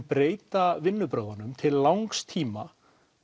breyta vinnubrögðunum til langs tíma